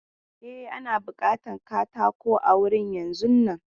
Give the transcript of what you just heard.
E, ana bukatan katako a wurin yanzun nan.